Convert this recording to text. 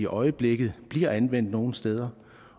øjeblikket bliver anvendt nogle steder